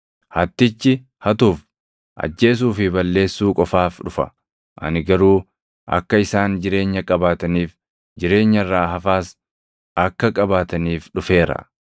Hattichi hatuuf, ajjeesuu fi balleessuu qofaaf dhufa; ani garuu akka isaan jireenya qabaataniif, jireenya irraa hafaas akka qabaataniif dhufeera.